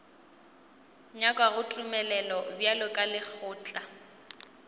nyakago tumelelo bjalo ka lekgotla